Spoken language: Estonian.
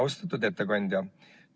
Austatud ettekandja!